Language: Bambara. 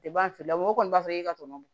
fililamu o kɔni b'a fɔ e ka tɔ don